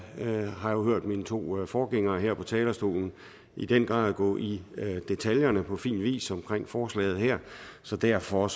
har jo hørt mine to forgængere her på talerstolen i den grad gå i detaljer på fin vis omkring forslaget her så derfor